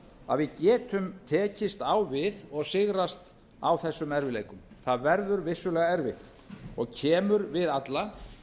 að við getum tekist á við og sigrast á þessum erfiðleikum það verður vissulega erfitt og kemur við alla